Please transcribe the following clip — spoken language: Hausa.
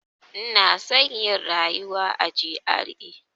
Ina son yin rayuwa a GRA.